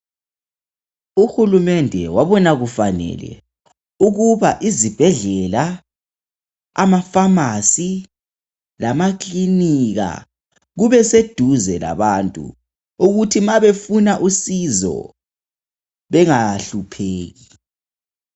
Uhulumende wabona kufanele ukuba izibhedlela, amafamasi lamakilinika kube seduze labantu ukuthi mabefuna usizo bengahlupheki.